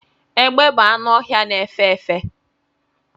Egbe bụ anụ ọhịa na efe efe